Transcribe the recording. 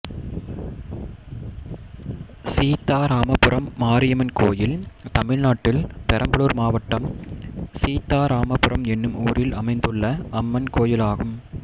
சீத்தாராமபுரம் மாரியம்மன் கோயில் தமிழ்நாட்டில் பெரம்பலூர் மாவட்டம் சீத்தாராமபுரம் என்னும் ஊரில் அமைந்துள்ள அம்மன் கோயிலாகும்